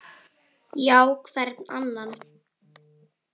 Já, hvern annan?